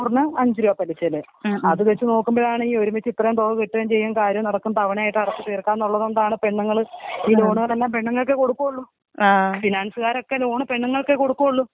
നൂറിന് അഞ്ച് രൂപ പലിശ അത് വെച്ച് നോക്കുമ്പയാണി ഈ ഒരുമിച്ച് തുക കിട്ടുകയും ചെയ്യും കാര്യം നടക്കുകയും തവണയായി അടച്ചിട്ട് തീർക്കാം എന്നുള്ളതുകൊണ്ടാണ് പെണ്ണുങ്ങളെ ഈ ലോണൊക്കെ പെണ്ണുങ്ങൾക്കെ കൊടുക്കൊള്ളു. ഫിനാൻസ്കാരൊക്കെ ലോൺ പെണ്ണുങ്ങൾക്കെ കൊടുക്കൊള്ളു